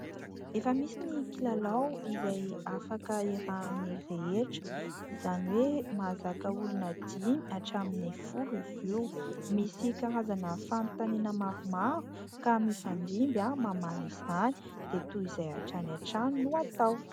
Efa misy ny kilalao izay afaka iarahan'ny rehetra, izany hoe mahazaka olona 5 hatramin'ny 10 izy io. Misy karazana fanontaniana maromaro ka mifandimby mamaly izany dia toy izay hatrany hatrany no atao.